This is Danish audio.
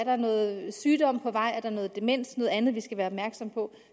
er noget sygdom på vej eller noget demens eller andet man skal være opmærksom på